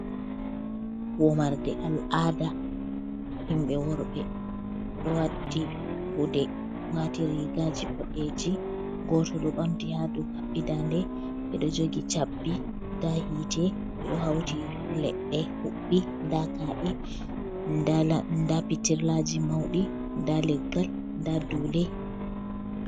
Wamarde al'aada himɓe worɓe, ɗo watti gude, waati riigaaji boɗeeji, gooto ɗo ɓamti haa dow haɓɓii daande. Ɓe ɗo jogi cabbi, ndaa yiite ɓe ɗo hawti leɗɗe huɓɓi. Ndaa ka’e, ndaa pitirlaaji mawɗi, ndaa leggal, ndaa duule.